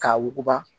K'a wuguba